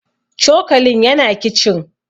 cokalin yana kicin